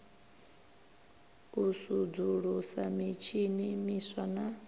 u sudzulusa mitshini miswa na